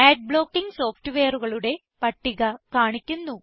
add blocking സോഫ്റ്റ് വെയറുകളുടെ പട്ടിക കാണിക്കുന്നു